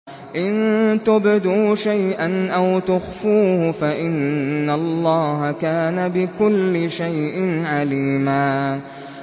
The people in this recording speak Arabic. إِن تُبْدُوا شَيْئًا أَوْ تُخْفُوهُ فَإِنَّ اللَّهَ كَانَ بِكُلِّ شَيْءٍ عَلِيمًا